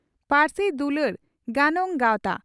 ᱯᱟᱹᱨᱥᱤ ᱫᱩᱞᱟᱹᱲ ᱜᱟᱱᱚᱝ ᱜᱟᱣᱛᱟ